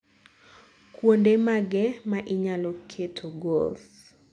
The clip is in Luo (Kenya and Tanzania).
kuonde mage ma inyalo keto goals